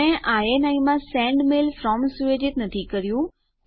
મેં ઇની માં સેન્ડ મેઇલ ફ્રોમ સુયોજિત નથી કર્યું